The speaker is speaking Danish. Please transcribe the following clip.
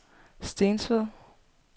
Stensved